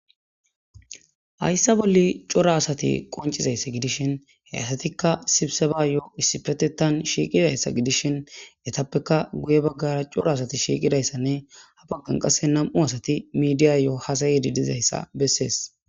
hayssa bolle cora asati qoncizayssa gidishin he asatikka sibseba yoo issipetetan shiiqidayssa gidishin etappeka guye baggara cora asati shiiqidayssanne ha baggan qasse nam7u asati midiya yo7o hasayedi dizayssa bessees